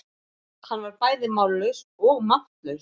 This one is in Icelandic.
Hann var bæði mállaus og máttlaus.